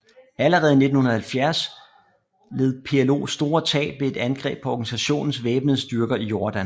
Allerede i 1970 led PLO store tab ved et angreb på organisationens væbnede styrker i Jordan